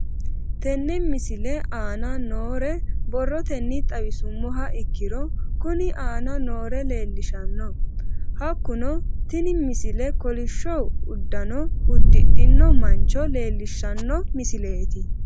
Tenne misile aana noore borrotenni xawisummoha ikirro kunni aane noore leelishano. Hakunno tinni misile kollishsho uddanno uddidhinno mancho leelishshano misileeti.